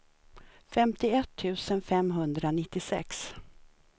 femtioett tusen femhundranittiosex